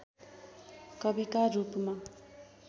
कविका रूपमा